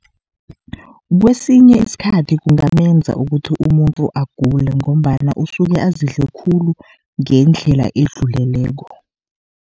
Kwesinye isikhathi kungamenza ukuthi umuntu agule, ngombana usuke azidle khulu ngendlela edluleleko.